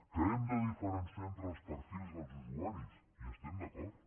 que hem de diferenciar entre els perfils dels usuaris hi estem d’acord